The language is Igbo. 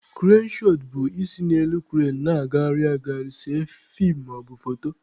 Krane shọt bụ isi n'elu krane na-agagharị agagharị see feem maọbụ foto.